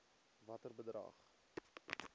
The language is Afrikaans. watter bedrag